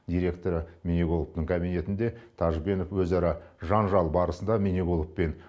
директоры міниғуловтың кабинетінде тәжбенов өзара жанжал барысында міниғұлов пен